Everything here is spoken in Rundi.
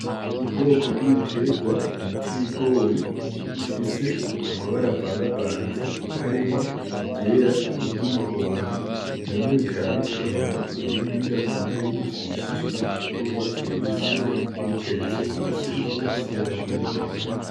Ubwoko bw'ibitegwa bita ibigori bifise amabara avangavanze harimwo iryera n'i ryu umuhondo bimwe bikaba bitonoye ibindi bidatonoye bigifse ibishishwa vy'urwatsi rubisi biteretse mu gaseke gafise ibarary'umugina.